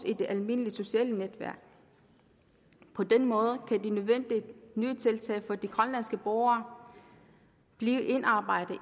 i det almindelige sociale netværk på den måde kan de nødvendige nye tiltag for de grønlandske borgere blive indarbejdet